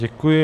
Děkuji.